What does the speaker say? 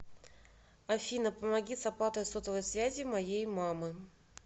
афина помоги с оплатой сотовой связи моей мамы